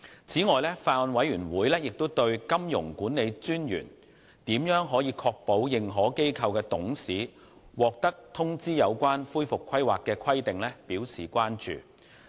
此外，法案委員會亦對金融管理專員如何確保認可機構的董事獲通知有關恢復規劃的規定表示關注。